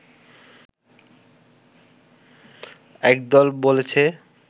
একদল বলেছে